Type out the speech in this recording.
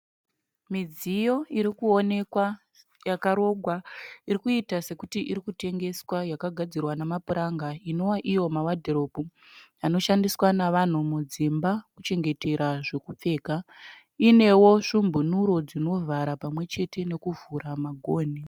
Midziyo irikuonekwa yakarongwa irikuita sekuti iri kutengeswa yakagadzirwa nemapuranga inova iyo mawadhiropu anoshandiswa nevanhu mudzimba kuchengetera zvekupfeka. Inevo svumbunuro dzinovhara pamwechete nekuvhura magonhi.